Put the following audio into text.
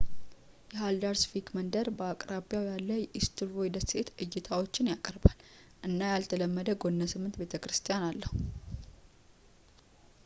የሃልዳርስቪክ መንደር በአቅራቢያው ያለ የኢስቱርቮይ ደሴት እይታዎችን ያቀርባል እና ያልተለመደ ጎነ-ስምንት ቤተ-ክርስቲያን አለው